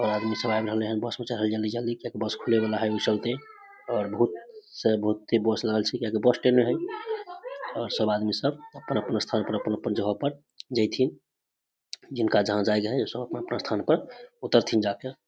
और आदमी सब आब रहले हैन बस में चढ़े ले जल्दी-जल्दी किया कि बस खुले वला है ओय चलते और बहुत से बहुते बस लगल छै किया कि बस स्टैंड है और सब आदमी सब अपन-अपन स्थान पर अपन-अपन जगह पर जेथिन जिनका जहां जाय के ऊ सब अपन-अपन स्थान पर उतरथिन जाके।